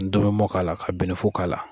N tomi mɔn k'ala, ka bɛnɛfu k'a la.